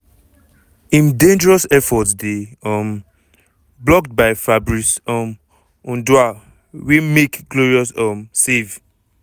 im dangerous effort dey um blocked by fabrice um ondoa wey make glorious um save!